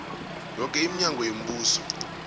yoke iminyango yombuso